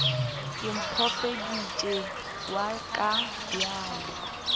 ke mophediši wa ka bjale